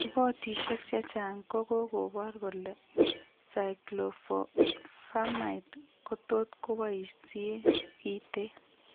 Repotisiek chechang' kokokobor kole cyclophosphamide kotot koboisie kiteen